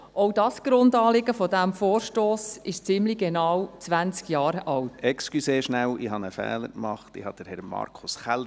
Auch das Grundanliegen dieses Vorstosses ist ziemlich genau zwanzig Jahre alt.